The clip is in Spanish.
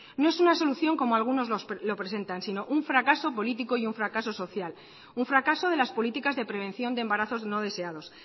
no es una solución como algunos lo presentan sino un fracaso político y un fracaso social un fracaso de las políticas de prevención de embarazos no deseados